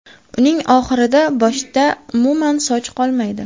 Uning oxirida boshda umuman soch qolmaydi.